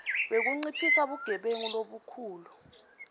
wekunciphisa bugebengu lobukhulu